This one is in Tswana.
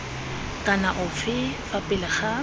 kana ofe fa pele ga